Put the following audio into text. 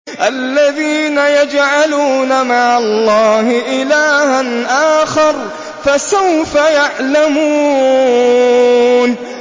الَّذِينَ يَجْعَلُونَ مَعَ اللَّهِ إِلَٰهًا آخَرَ ۚ فَسَوْفَ يَعْلَمُونَ